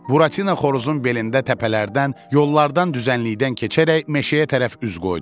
Buratina xoruzun belində təpələrdən, yollardan düzənlikdən keçərək meşəyə tərəf üz qoydu.